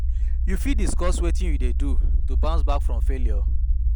You fit discuss wetin you dey do to bounce back from failure?